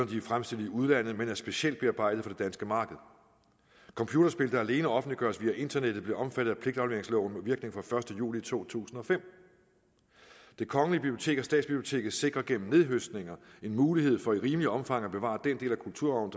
de er fremstillet i udlandet men er specielt bearbejdet for det danske marked computerspil der alene offentliggøres via internettet blev omfattet af pligtafleveringsloven med virkning fra den første juli to tusind og fem det kongelige bibliotek og statsbiblioteket sikrer gennem nethøstninger en mulighed for i rimeligt omfang at bevare den del af kulturarven